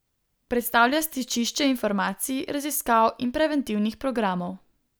Predstavlja stičišče informacij, raziskav in preventivnih programov.